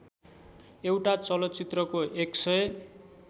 एउटा चलचित्रको १००